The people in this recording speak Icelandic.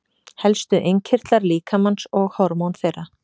Helstu innkirtlar líkamans og hormón þeirra.